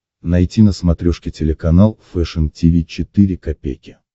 найти на смотрешке телеканал фэшн ти ви четыре ка